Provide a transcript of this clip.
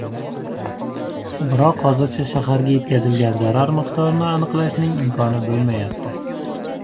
Biroq hozircha shaharga yetkazilgan zarar miqdorini aniqlashning imkoni bo‘lmayapti.